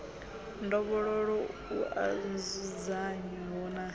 ndovhololo u oa nzudzanyo na